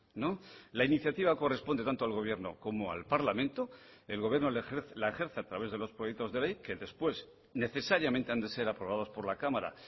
no la iniciativa corresponde tanto al gobierno como al parlamento el gobierno la ejerce a través de los proyectos de ley que después necesariamente han de ser aprobados por la cámara